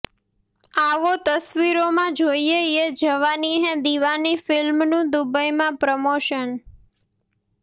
આવો તસવીરોમાં જોઇએ યે જવાની હૈ દીવાની ફિલ્મનું દુબઈમાં પ્રમોશન